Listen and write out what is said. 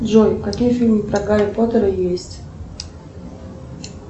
джой какие фильмы про гарри поттера есть